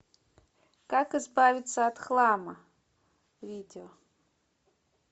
как избавиться от хлама видео